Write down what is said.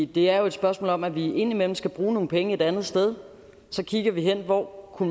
det er jo et spørgsmål om at vi indimellem skal bruge nogle penge et andet sted så kigger vi på hvor